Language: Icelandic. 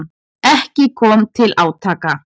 Ekki kom til átaka.